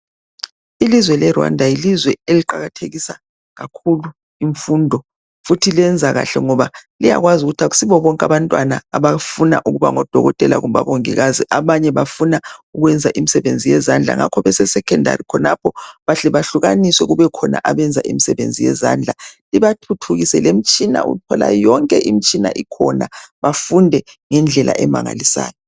Ilizwe leRwanda yilizwe eliqakathekisa kakhulu imfundo futhi lenza kahle ngoba liyakwazi ukuthi kayisibo bonke abantwana abafuna ukuba ngodokotela kumbe omongikazi abanye bafuna ukwenza imsebenzi yezandla ngakho bese Secondary bahle bahlukaniswe kube khona abenza imsebenzi yezandla ibathuthukise lemtshina uthola yonke imitshina ikhona bafunde ngendlela emangalisayo